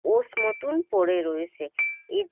Osh মতন পড়ে রয়েসে এ--